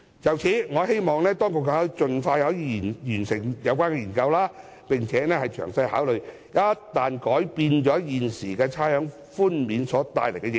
就此，我希望當局可以盡快完成有關研究，並詳細考慮一旦改變現時差餉寬免安排所帶來的影響。